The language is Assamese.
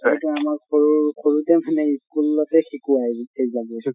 এইটো আমাক সৰু সৰুতে মানে school তে শিকোৱা